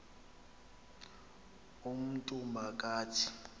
umntu ma kathi